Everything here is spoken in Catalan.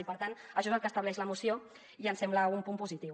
i per tant això és el que estableix la moció i ens sembla un punt positiu